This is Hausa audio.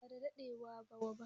ba da daɗewa wa ba